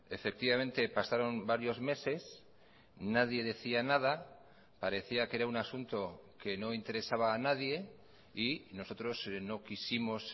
efectivamente pasaron varios meses nadie decía nada parecía que era un asunto que no interesaba a nadie y nosotros no quisimos